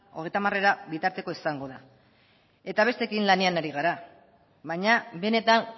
hogeita hamarera bitartekoa izango da eta besteekin lanean ari gara baina benetan